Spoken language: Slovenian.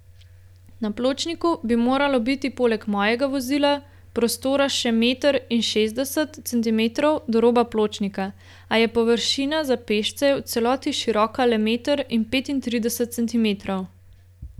Na pločniku bi moralo biti poleg mojega vozila prostora še meter in šestdeset centimetrov do roba pločnika, a je površina za pešce v celoti široka le meter in petintrideset centimetrov.